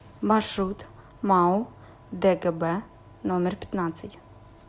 маршрут мау дгб номер пятнадцать